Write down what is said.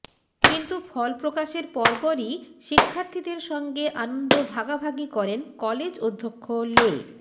কিন্তু ফল প্রকাশের পরপরই শিক্ষার্থীদের সঙ্গে আনন্দ ভাগাভাগি করেন কলেজ অধ্যক্ষ লে